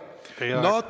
Teie aeg!